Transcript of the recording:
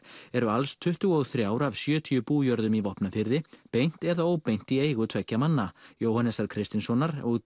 eru alls tuttugu og þrjú af sjötíu bújörðum í Vopnafirði beint eða óbeint í eigu tveggja manna Jóhannesar Kristinssonar og